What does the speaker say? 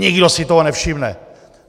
Nikdo si toho nevšimne.